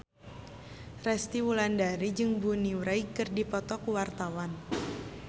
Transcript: Resty Wulandari jeung Bonnie Wright keur dipoto ku wartawan